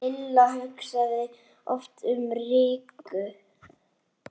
Lilla hugsaði oft um Rikku.